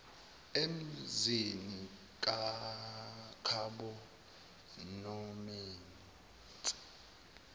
emzini kab nomese